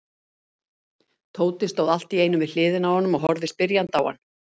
Tóti stóð allt í einu við hliðina á honum og horfði spyrjandi á hann.